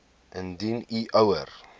indien u ouer